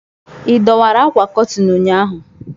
ị dọwara ákwà Kọtịn ụnyaahụ?